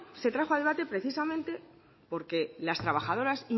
se trajo a debate precisamente porque las trabajadoras